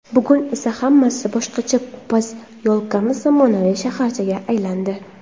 Bugun esa hammasi boshqacha – posyolkamiz zamonaviy shaharchaga aylandi.